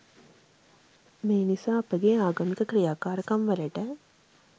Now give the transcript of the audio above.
මේ නිසා අපගේ ආගමික ක්‍රියාකාරකම්වලට